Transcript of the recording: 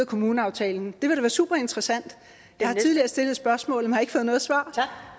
kommuneaftalen det vil super interessant jeg har tidligere stillet spørgsmålet men har ikke fået noget svar